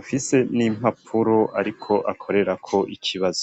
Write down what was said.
afise n'impapuro ariko akorerako ikibazo.